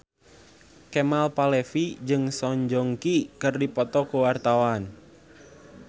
Kemal Palevi jeung Song Joong Ki keur dipoto ku wartawan